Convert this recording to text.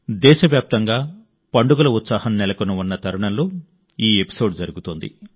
దేశవ్యాప్తంగా పండుగల ఉత్సాహం నెలకొని ఉన్న తరుణంలో ఈ ఎపిసోడ్ జరుగుతోంది